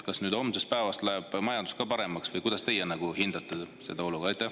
Kas nüüd homsest päevast läheb majandus paremaks või kuidas teie seda olukorda hindate?